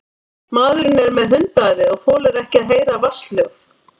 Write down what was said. Maðurinn er með hundaæði og þolir ekki að heyra vatnshljóð.